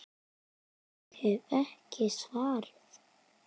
Ég hef ekki svarið.